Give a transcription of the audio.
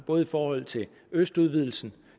både i forhold til østudvidelsen